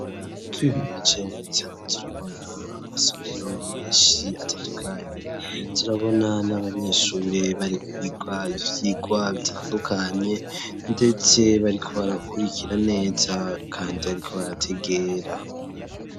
Twihweje neza ,turabona Amasomero menshi atandukanye, turabona n'abanyeshuri barikwiga ivyigwa bitandukanye ,ndetse bariko barakurikira neza kandi bariko barategera.